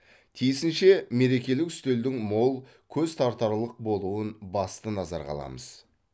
тиісінше мерекелік үстелдің мол көз тартарлық болуын басты назарға аламыз